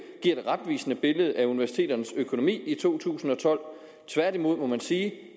giver et retvisende billede af universiteternes økonomi i to tusind og tolv tværtimod må man sige